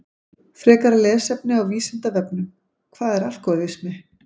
Frekara lesefni á Vísindavefnum Hvað er alkóhólismi?